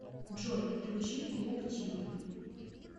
джой включи клуб тьюб